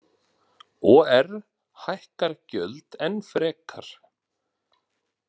OR hækkar gjöld enn frekar